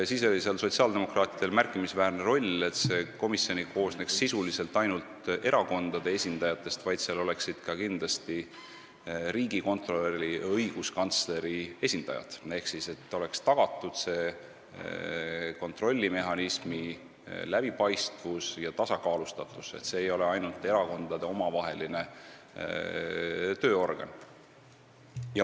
Siis oli sotsiaaldemokraatidel märkimisväärne roll selles, et see komisjon ei koosneks sisuliselt ainult erakondade esindajatest, vaid seal oleksid kindlasti ka riigikontrolöri ja õiguskantsleri esindajad, nii et oleks tagatud kontrollimehhanismi läbipaistvus ja tasakaalustatus ning see ei oleks ainult erakondade omavaheline tööorgan.